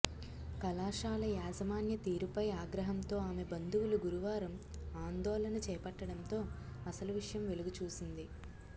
కళాశాల యాజమాన్య తీరుపై ఆగ్రహంతో ఆమె బంధువులు గురువారం ఆందోళన చేపట్టడంతో ఆసలు విషయం వెలుగు చూసింది